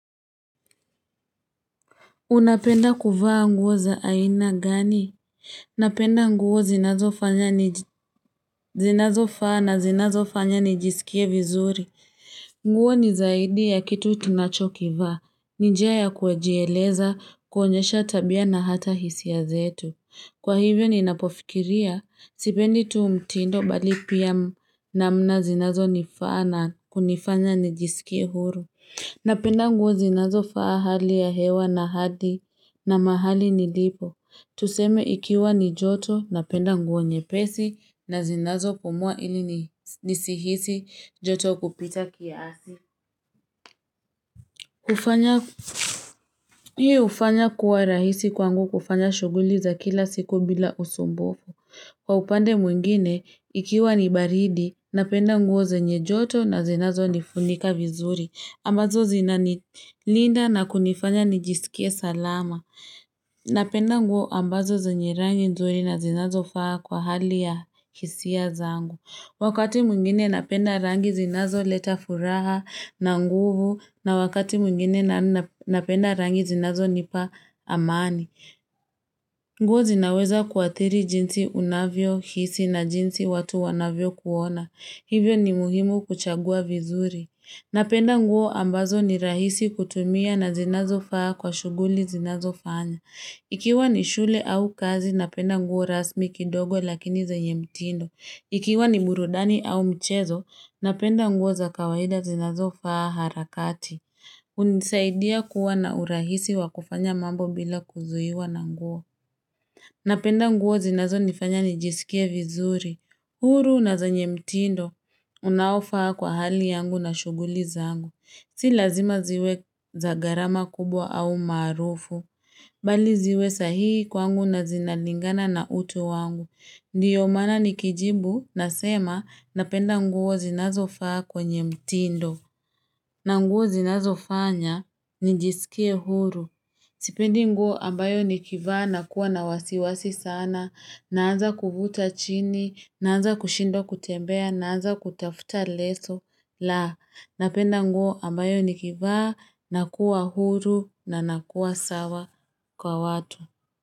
Unapenda kuvaa nguo za aina gani? Napenda nguo zinazo fanya zinazo faa na zinazo fanya nijisikie vizuri nguo ni zaidi ya kitu tunacho kivaa ni njia ya kujieleza kuonyesha tabia na hata hisia zetu kwa hivo ninapofikiria sipendi tu mtindo bali pia namna sinazonifaa nifqnya nijiskie huru napenda nguo zinazofaa hali ya hewa na hali na mahali nilipo. Tuseme ikiwa ni joto napenda nguo nyepesi na zinazo kupumua ili ni nisihisi joto kupita kia asi. Kufanya, hii hufanya kuwa rahisi kwangu kufanya shughuli za kila siku bila usumbufu. Kwa upande mwingine, ikiwa ni baridi napenda nguo zenye joto na zinazo nifunika vizuri. Ambazo zina nilinda na kunifanya nijisikie salama. Napenda nguo ambazo zenye rangi nzuri na zinazofaa kwa hali ya hisia zangu. Wakati mwingine napenda rangi zinazoleta furaha na nguvu na wakati mwingine napenda rangi zinazo nipa amani. Nguo zinaweza kuathiri jinsi unavyohisi na jinsi watu wanavyo kuona. Hivyo ni muhimu kuchagua vizuri. Napenda nguo ambazo ni rahisi kutumia na zinazo faa kwa shughuli zinazofana. Ikiwa ni shule au kazi, napenda nguo rasmi kidogo lakini zenye mtindo. Ikiwa ni burudani au mchezo, napenda nguo za kawaida zinazo faa harakati. Hunisaidia kuwa na urahisi wa kufanya mambo bila kuzuiwa na nguo. Napenda nguo zinazonifanya nijisikie vizuri. Huru na zenye mtindo, unaofaa kwa hali yangu na shughuli zangu. Si lazima ziwe za gharama kubwa au maarufu. Bali ziwe sahihi kwangu na zinalingana na utu wangu. Ndiyo maana nikijibu nasema napenda nguo zinazofa kwenye mtindo. Na nguo zinazofanya nijisikie huru. Sipendi nguo ambayo nikivaa nakuwa na wasiwasi sana. Naanza kuvuta chini. Naanza kushindwa kutembea. Naanza kutafuta leso. La, napenda nguo ambayo nikivaa, nakua huru na nakua sawa kwa watu.